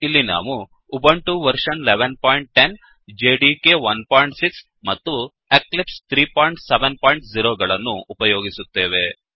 ಇಲ್ಲಿ ನಾವು Ubuntu version 1110 OS Ubuntu version ೧೧೧೦ OS Java development kit 16 Java development kit ೧೬ and Eclipse 370 ಮತ್ತು Eclipse ೩೭೦ ಗಳನ್ನು ಉಪಯೋಗಿಸುತ್ತೇವೆ